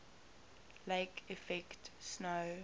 lake effect snow